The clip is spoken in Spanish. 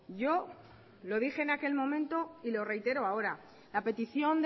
yo lo dije en aquel momento y lo reitero ahora la petición